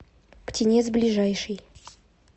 птенец ближайший